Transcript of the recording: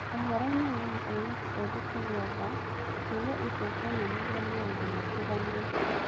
Ũhoro-inĩ wĩgiĩ airĩtũ ethĩ kũgĩa nda, ciũria icio cionanirie maũndũ matiganĩte.